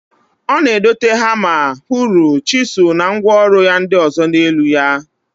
O na- edote hama, huru, chizul na ngwa oru ya ndi ozo n'elu ya.